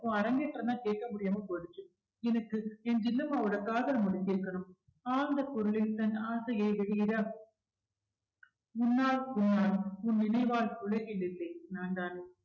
உன் அரங்கேற்றதா கேட்க முடியாம போயிடுச்சு எனக்கு என் ஜில்லுமாவோட காதல் முடிஞ்சிருக்கணும் ஆழ்ந்த குரலில் தன் ஆசையை வெளியிட உன்னாள் உன்னாள் உன் நினைவால் உலகில் இல்லை நான்தான்